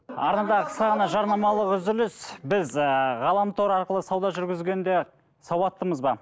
арнада қысқа ғана жарнамалық үзіліс біз ыыы ғаламтор арқылы сауда жүргізгенде сауаттымыз ба